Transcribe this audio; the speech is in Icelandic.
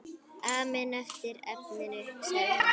Amen eftir efninu sagði hann.